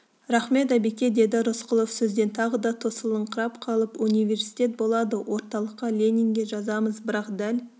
рақмет әбеке деді рысқұлов сөзден тағы да тосылыңқырап қалып университет болады орталыққа ленинге жазамыз бірақ дәл